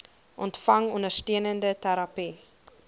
ontvang ondersteunende terapie